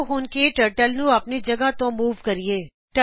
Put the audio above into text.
ਆਓ ਹੁਣ ਕੇ ਟਰਟਲ ਨੂੰ ਆਪਣੀ ਜਗ੍ਹਾ ਤੋ ਮੂਵ ਕਰੀਏ